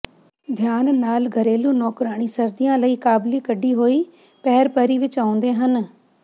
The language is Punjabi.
ਧਿਆਨ ਨਾਲ ਘਰੇਲੂ ਨੌਕਰਾਣੀ ਸਰਦੀਆਂ ਲਈ ਕਾਬਲੀ ਕਢੀ ਹੋਈ ਪਅਰ ਪਰੀ ਵਿਚ ਆਉਂਦੇ ਹਨ